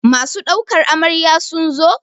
Masu ɗaukar Amarya sun zo?